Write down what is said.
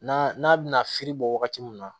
N'a n'a bɛna firi bɔ wagati min na